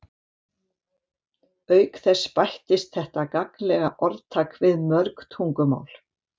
Auk þess bættist þetta gagnlega orðtak við mörg tungumál.